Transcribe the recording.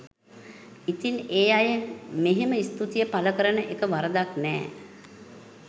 ඉතිං ඒ අය මෙහෙම ස්තුතිය පළ කරන එක වරදක් නෑ